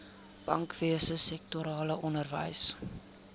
bankwese sektorale onderwys